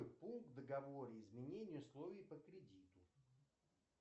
пункт в договоре изменение условий по кредиту